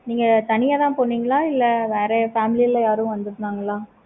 நீங்க தனியா தான் போனீங்களா? இல்ல வேற family ல யாரும் வந்துருந்தாங்களா?